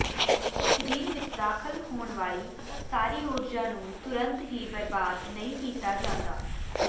ਸਰੀਰ ਵਿਚ ਦਾਖਲ ਹੋਣ ਵਾਲੀ ਸਾਰੀ ਊਰਜਾ ਨੂੰ ਤੁਰੰਤ ਹੀ ਬਰਬਾਦ ਨਹੀਂ ਕੀਤਾ ਜਾਂਦਾ